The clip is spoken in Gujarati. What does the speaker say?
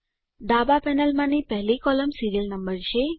ડાબા પેનલમાની પહેલી કોલમ સીરીયલ નંબર છે